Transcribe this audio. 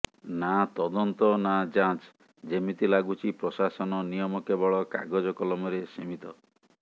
ନାଁ ତଦନ୍ତ ନାଁ ଯାଚଁ ଯେମିତି ଲାଗୁଛି ପ୍ରଶାସନ ନିୟମ କେବଳ କାଗଜ କଲମରେ ସିମିତ